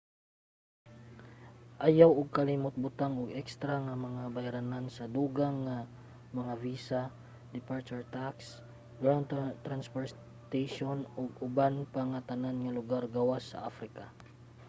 ayaw kalimot og butang og ekstra nga mga bayranan sa dungag nga mga visa departure tax ground transportation ug uban pa sa tanan lugar gawas sa africa